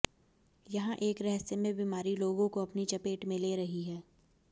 यहां एक रहस्यमय बीमारी लोगों को अपनी चपेट में ले रही है